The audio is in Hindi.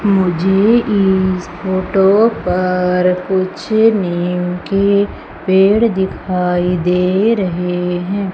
मुझे इस फोटो पर कुछ निम के पेड़ दिखाई दे रहे हैं।